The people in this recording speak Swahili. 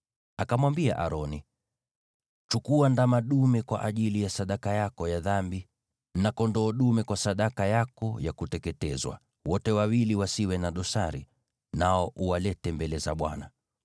Akamwambia Aroni, “Chukua ndama dume kwa ajili ya sadaka yako ya dhambi, na kondoo dume kwa sadaka yako ya kuteketezwa, wote wawili wasiwe na dosari, nao uwalete mbele za Bwana .